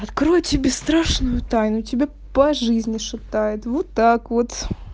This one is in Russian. открою тебе страшную тайну тебя по жизни шатает вот так вот